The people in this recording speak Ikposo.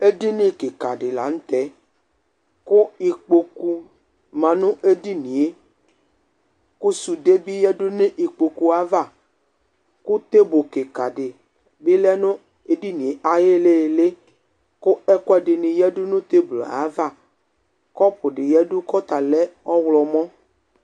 Edini kɩka dɩ la nʋ tɛ, kʋ ikpoku ma nʋ edinie, ƙʋ sʋde bɩ ƴǝdu nʋ ikpokuavaƘʋ tebl ƙɩƙa ɖɩ bɩ lɛ nʋ eɖinie aƴ'ɩhɩlɩlɩ ,ƙʋ ɛƙʋɛɖɩnɩ ƴǝdu nʋ tebl ava, ƙɔpʋ ɖɩ yǝdu ƙʋ ɔta lɛ ɔɣlɔmɔ